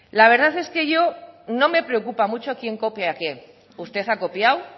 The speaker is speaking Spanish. la verdad es que a mí no me preocupa mucho a quién copia y qué usted ha copiado